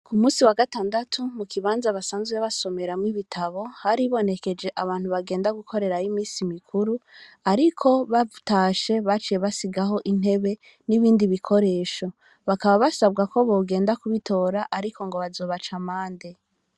Ku musi wa gatandu mu kibanza basanzwe basomeramwo ibitabo haribonekeje abantu bagenda gukorerayo imisi mikuru ariko batashe baciye basigaho intebe n'ibindi bikoresho bakaba basabwa ko bogenda ku bitora ariko ngo bazobaca amande.